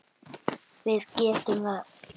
Við getum það.